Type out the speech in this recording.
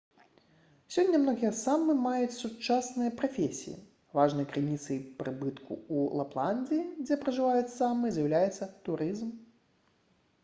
сёння многія саамы маюць сучасныя прафесіі важнай крыніцай прыбытку ў лапландыі дзе пражываюць саамы з'яўляецца турызм